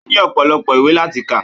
Ó ní ọ̀pọ̀lọpọ̀ ìwé láti kà